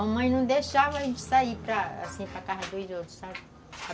A mãe não deixava a gente sair para, assim para a casa dos outros, sabe?